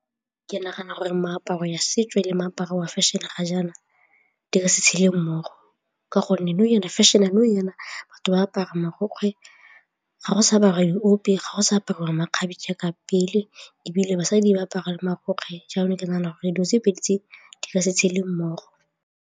Ke nagana gore meaparo ya setso le moaparo wa fashion-e ga jaana di ka se tshele mmogo ka gonne nou jaana fashion-e batho ba apara marokgwe ga go sa ba baithopi, ga go sa apara makgabe ka pele ebile basadi ba apara marokgwe jalo ke nagana gore dilo tse pedi tse di ka se tshele mmogo.